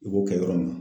I b'o kɛ yɔrɔ min na